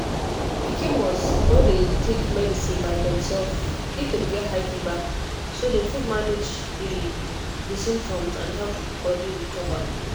pikin must no dey take medicine by demself if dem get high fever so dem fit manage di di symptoms and help body recover